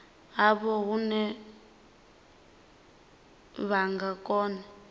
havho hune vha nga kona